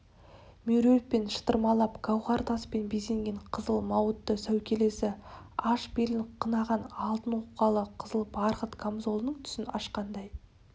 меруертпен шытырмалап гауһар таспен безеген қызыл мауыты сәукелесі аш белін қынаған алтын оқалы қызыл барқыт камзолының түсін ашқандай